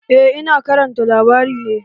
Eh, Ina karanta labari ne